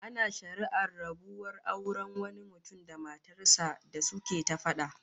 Ana shari'ar rabuwar auren wani mutum da matar sa da suke ta fada